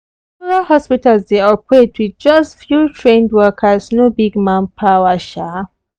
rural hospitals dey operate with just few trained workers no big manpower. um